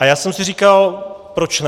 A já jsem si říkal proč ne.